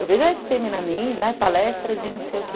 Eu vejo a esse pê eme na mídia, palestras de não sei o quê.